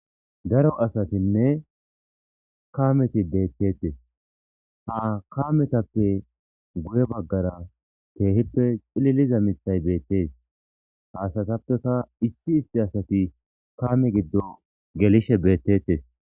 Daro asatinne kaameti deettettes ha kametappe guye baggara teehippe cililiza mitay beettees ha asatappeka issi isti asati kaame giddo gelishe beettettes.